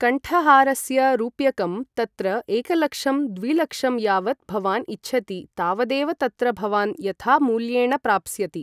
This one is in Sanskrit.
कण्ठहारस्य रूप्यकम् तत्र एकलक्षं द्विलक्षं यावत् भवान् इच्छति तावदेव तत्र भवान् यथा मूल्येण प्राप्स्यति